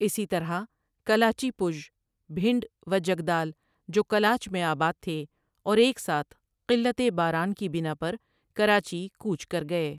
اسی طرح کلاچی پُژ، بھنڈ و جدگال جو کلاچ میں آباد تھے اور ایک ساتھ قلّتِ باران کی بنا پر کراچی کوچ کر گئے ۔